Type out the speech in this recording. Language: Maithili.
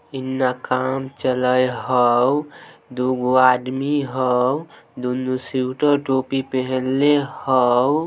इन्ना कम चले हाऊ दूगों आदमी हाऊ दूनू स्वीटर टोपी पहनले हाऊ--